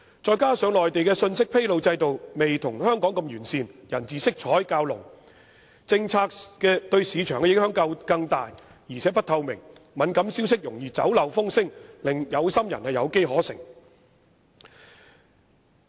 此外，內地的信息披露制度未如香港般完善，人治色彩較濃，政策對市場的影響更大，而且不透明，敏感消息容易泄漏，令有心人有機可乘。